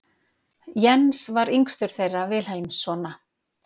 Jens var yngstur þeirra Vilhelmssona.